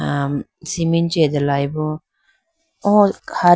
aam cement chee atepolayibo o hali.